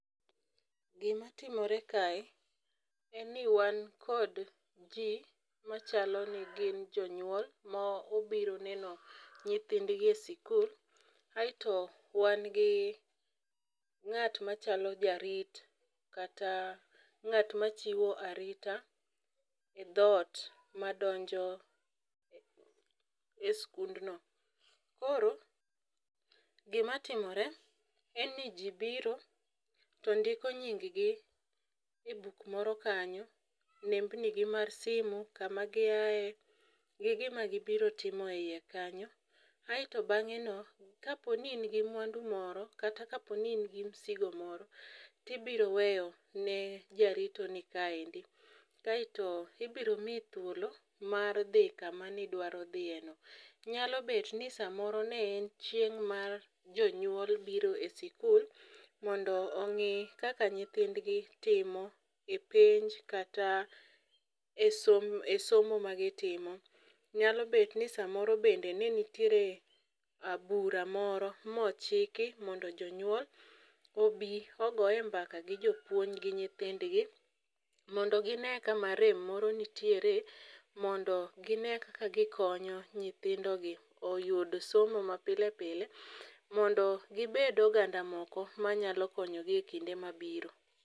Gimatimore kae en ni wan kod ji machalo ni gin jonyuol mobiro neno nyithindgi e sikul aeto wan gi ng'at machalo jarit kata ng'at machiwo arita e thot madonjo e skundno. koro gimatimore en ni ji biro to ndiko nyinggi e buk moro kanyo, nembnigi mar simu kamagiaye, gi gima gibiro timo e i kanyo, aeto bang'eno, kapo ni in gi mwandu moro kata kaponi in gi msigo moro tibiro weyo ne jaritoni kaeni, kaeoto ibiro miyi thuolo mar dhi kama nidwaro dhiyeno. Nyalo bet ni samoro ne en chieng' mar jonyuol biro e sikul mondo ong'i kaka nyithindgi timo e penj kata e somo magitimo, nyalo bet ni samoro bende ne nitiere bura moro mochiki mondo jonyuol obi ogoye mbaka gi jopuonj g nyithindgi mondo gine kama rem moro nitiere mondo gine kaka gikonyo nyithindogi oyud somo mapile pile mondo gibed oganda moko manyalo konyogi e kinde mabiro.